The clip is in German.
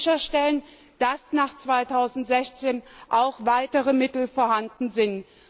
Wir müssen sicherstellen, dass nach 2016 auch weitere Mittel vorhanden sind.